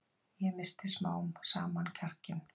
Ég missti smám saman kjarkinn.